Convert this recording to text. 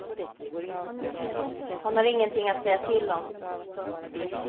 Han har ingenting att säga till om. punkt